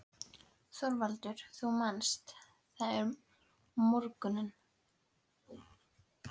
ÞORVALDUR: Þú manst: þarna um morguninn?